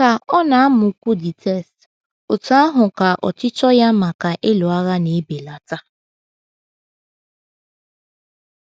Ka ọ na - amụkwu the text, otú ahụ ka ọchịchọ ya maka ịlụ agha na - ebelata.